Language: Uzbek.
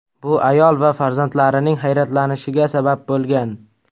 Bu ayol va farzandlarining hayratlanishiga sabab bo‘lgan.